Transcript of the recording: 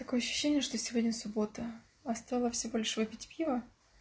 ощущение что сегодня суббота осталось небольшой пить пиво